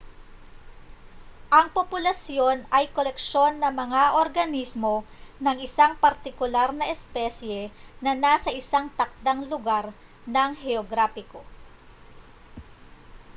ang populasyon ay koleksyon ng mga organismo ng isang partikular na espesye na nasa isang takdang lugar na heograpiko